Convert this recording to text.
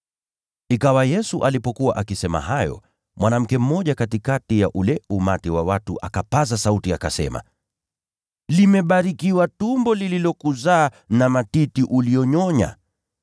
Ikawa Yesu alipokuwa akisema hayo, mwanamke mmoja katikati ya ule umati wa watu akapaza sauti akasema, “Limebarikiwa tumbo lililokuzaa na matiti uliyonyonya!”